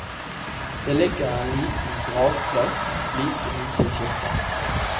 Det ligger en liten gravplass like inntil kirken.